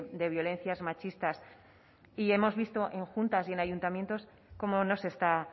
de violencias machistas y hemos visto en juntas y en ayuntamientos cómo no se está